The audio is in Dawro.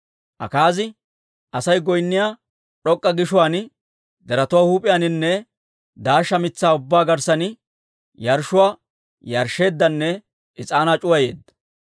Akaazi Asay goynniyaa d'ok'k'a gishuwaan, deretuwaa huup'iyaaninne daashsha mitsaa ubbaa garssan yarshshuwaa yarshsheeddanne is'aanaa c'uwayeedda.